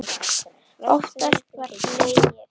Oftast var hlegið.